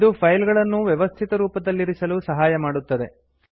ಇದು ಫೈಲ್ ಗಳನ್ನು ವ್ಯವಸ್ಥಿತರೂಪದಲ್ಲಿರಿಸಲು ಸಹಾಯ ಮಾಡುತ್ತದೆ